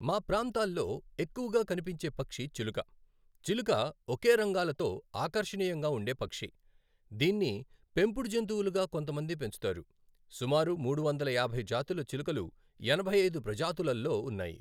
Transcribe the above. మా ప్రాంతాల్లో ఎక్కువగా కనిపించే పక్షి చిలుక. చిలుక ఒకే రంగాలతో ఆకర్షణీయంగా ఉండే పక్షి. దీన్ని పెంపుడు జంతువులుగా కొంతమంది పెంచుతారు. సుమారు మూడు వందల యాభై జాతుల చిలుకలు ఎనభై ఐదు ప్రజాతులల్లో ఉన్నాయి